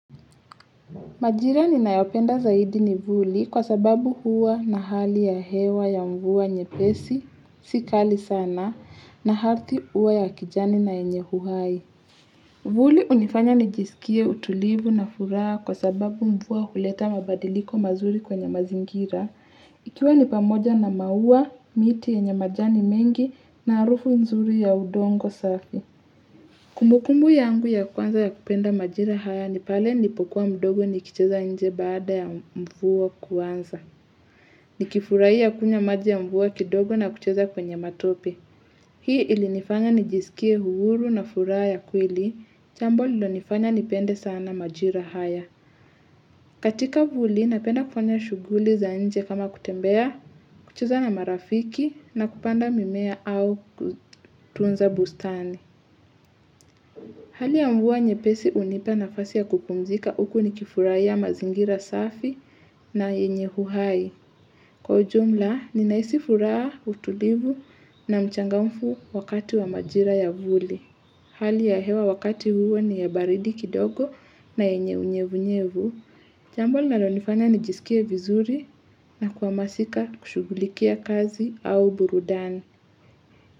Majira ninayopenda zaidi ni vuli kwa sababu huwa na hali ya hewa ya mvua nyepesi, si kali sana, na ardhi huwa ya kijani na yenye uhai. Vuli hunifanya nijisikie utulivu na furaha kwa sababu mvua huleta mabadiliko mazuri kwenye mazingira. Ikiwa ni pamoja na maua, miti yenye majani mengi na harufu nzuri ya udongo safi. Kumbukumbu yangu ya kwanza ya kupenda majira haya ni pale nilipokuwa mdogo nikicheza nje baada ya mvua kuanza. Nikifurahia kunywa maji ya mvua kidogo na kucheza kwenye matope. Hii ilinifanya nijisikie uhuru na furaha ya kweli, jambo lililonifanya nipende sana majira haya. Katika vuli napenda kufanya shughuli za nje kama kutembea, kucheza na marafiki na kupanda mimea au kutunza bustani. Hali ya mvua nyepesi hunipa nafasi ya kupumzika huku nikifurahiya mazingira safi na yenye uhai. Kwa jumla, ninahisi furaha, utulivu na mchangamfu wakati wa majira ya vuli. Hali ya hewa wakati huo ni ya baridi kidogo na yenye unyevunyevu. Jambo linalonifanya nijisikie vizuri na kuhamasika kushugulikia kazi au burudani.